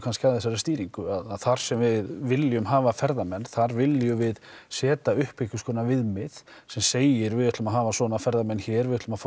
að þessari stýringu þar sem við viljum hafa ferðamenn þar viljum við setja upp einhverskonar viðmið sem segir við ætlum að hafa svona ferðamenn hér við ætlum að fá